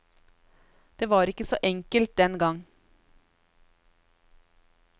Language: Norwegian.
Det var ikke så enkelt den gang.